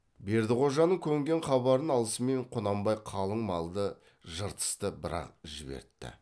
бердіқожаның көнген хабарын алысымен құнанбай қалың малды жыртысты бір ақ жібертті